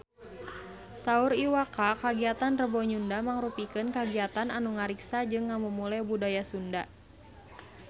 Saur Iwa K kagiatan Rebo Nyunda mangrupikeun kagiatan anu ngariksa jeung ngamumule budaya Sunda